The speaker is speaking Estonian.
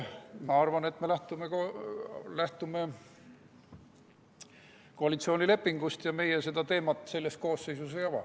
Ma arvan, et meie lähtume koalitsioonilepingust ja meie seda teemat selles koosseisus ei ava.